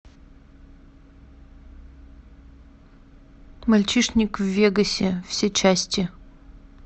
мальчишник в вегасе все части